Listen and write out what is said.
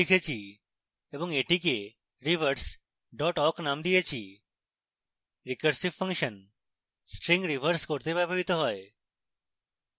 আমি string reverse করতে একটি code লিখেছি এবং এটিকে reverse awk named দিয়েছি recursive ফাংশন string reverse করতে ব্যবহৃত হয়